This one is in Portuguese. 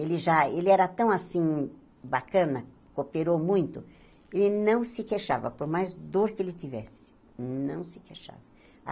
Ele já ele era tão assim bacana, cooperou muito, ele não se queixava, por mais dor que ele tivesse, não se queixava.